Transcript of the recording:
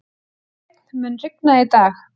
Hreinn, mun rigna í dag?